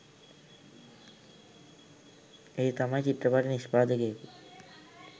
ඒ තමයි චිත්‍රපටි නිෂ්පාදකයකු